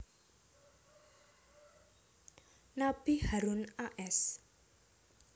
Nabi Harun a s